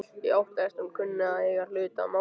Ég óttast að hún kunni að eiga hlut að máli.